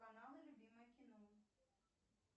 каналы любимое кино